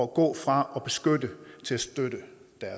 gå fra at beskytte til at støtte